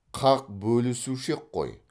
қақ бөлісуші ек қой